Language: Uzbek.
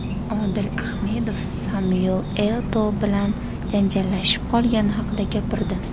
Odil Ahmedov Samyuel Eto‘O bilan janjallashib qolgani haqida gapirdi.